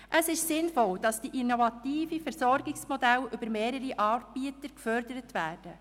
Es ist sinnvoll, dass innovative Versorgungsmodelle mit mehreren Anbietern gefördert werden.